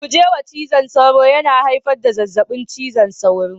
Guje wa cizon sauro, yana haifar da zazzabin cizon sauro